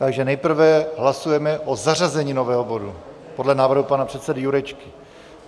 Takže nejprve hlasujeme o zařazení nového bodu podle návrhu pana předsedy Jurečky.